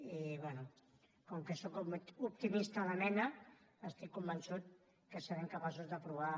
i bé com que sóc optimista de mena estic convençut que serem capaços d’aprovar